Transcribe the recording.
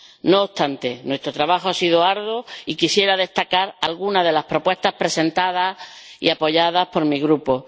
No obstante, nuestro trabajo ha sido arduo y quisiera destacar alguna de las propuestas presentadas y apoyadas por mi Grupo.